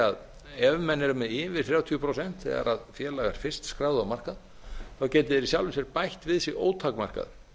er ef menn eru með yfir þrjátíu prósent þegar félag er fyrst skráð á markað þá geta þeir í sjálfu sér bætt við sig ótakmarkað